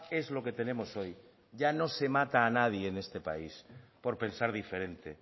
es lo que tenemos hoy ya no se mata a nadie en este país por pensar diferente